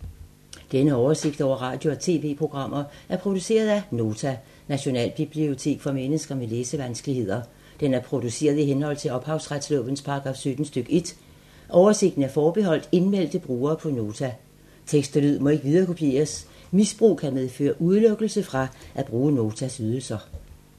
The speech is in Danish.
Denne oversigt over radio og TV-programmer er produceret af Nota, Nationalbibliotek for mennesker med læsevanskeligheder. Den er produceret i henhold til ophavsretslovens paragraf 17 stk. 1. Oversigten er forbeholdt indmeldte brugere på Nota. Tekst og lyd må ikke viderekopieres. Misbrug kan medføre udelukkelse fra at bruge Notas ydelser.